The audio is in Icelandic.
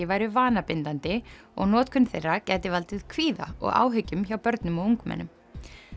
væru vanabindandi og notkun þeirra gæti valdið kvíða og áhyggjum hjá börnum og ungmennum